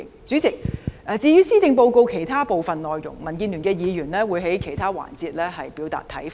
主席，至於施政報告其他部分內容，民建聯的議員會在其他環節表達看法。